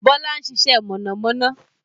Bọlá ń ṣiṣẹ́ mọ̀nàmọ́ná